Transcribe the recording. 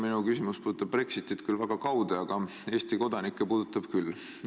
Minu küsimus puudutab Brexitit väga kaude, aga Eesti kodanikke üldiselt küll.